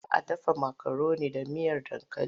Za a dafa makaroni da miyar dankali?